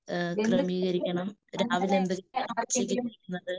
എഹ് ക്രമീകരിക്കണം. രാവിലെ എന്തെങ്കിലും എക്സസൈസ് ചെയ്യുന്നത് .